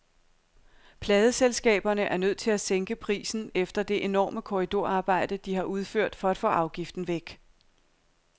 Pladeselskaberne er nødt til at sænke prisen efter det enorme korridorarbejde, de har udført for at få afgiften væk.